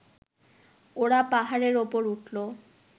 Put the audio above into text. ওরা পাহাড়ের উপর উঠল